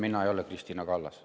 Mina ei ole Kristina Kallas.